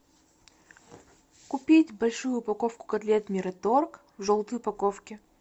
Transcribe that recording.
купить большую упаковку котлет мираторг в желтой упаковке